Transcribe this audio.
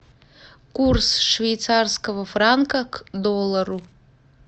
курс швейцарского франка к доллару